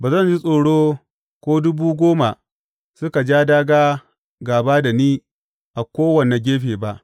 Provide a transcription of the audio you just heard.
Ba zan ji tsoro ko dubu goma suka ja dāgā gāba da ni a kowane gefe ba.